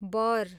बर